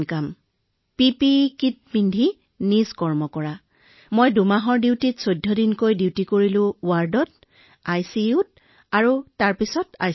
মহাশয় এইটো আমাৰ বাবে বৰ কঠিন আছিল মই ৱাৰ্ড আইচিইউ আইচলেচন সকলোতে ২ মাহৰ কৰ্তব্যত সকলো ঠাইতে ১৪১৪ দিন কৰ্তব্য পালন কৰিছিলো